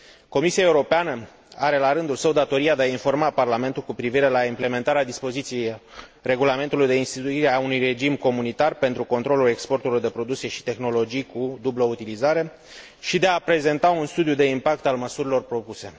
Comisia Europeană are, la rândul său, datoria de a informa Parlamentul cu privire la implementarea dispoziției Regulamentului de instituire a unui regim comunitar pentru controlul exportului de produse și tehnologii cu dublă utilizare și de a prezenta un studiu de impact al măsurilor propuse.